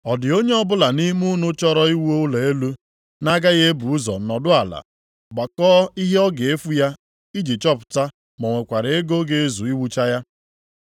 “Ọ dị onye ọbụla nʼime unu chọrọ iwu ụlọ elu, na-agaghị ebu ụzọ nọdụ ala, gbakọọ ihe ọ ga-efu ya, iji chọpụta ma o nwekwara ego ga-ezu iwucha ya?